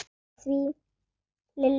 Lilli benti í þá átt.